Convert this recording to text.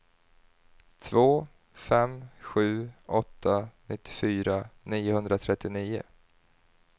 två fem sju åtta nittiofyra niohundratrettionio